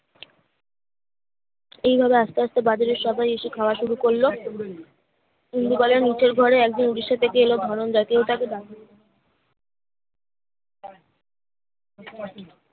সেই ভাবে আস্তে আস্তে বাদুড়ের সবাই এসে খাওয়া শুরু করলো নিন্দুকলের নিচের ঘরে একজন ওড়িশা থেকে এলো ধনঞ্জয়া কেউ তাকে ডাকল না